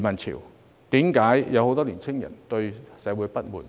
為何會有很多年輕人對社會不滿？